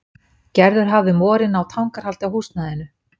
Gerður hafði um vorið náð tangarhaldi á húsnæðinu.